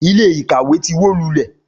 Ilé ìkàwé ti wó lulẹ̀